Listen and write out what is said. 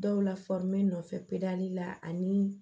Dɔw la nɔfɛ la ani